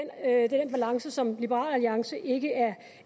er den balance som liberal alliance ikke